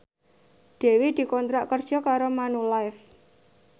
Dewi dikontrak kerja karo Manulife